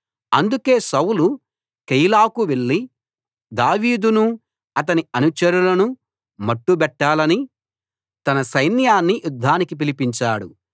అందుకే సౌలు కెయీలాకు వెళ్ళి దావీదునూ అతని అనుచరులనూ మట్టుబెట్టాలని తన సైన్యాన్ని యుద్ధానికి పిలిపించాడు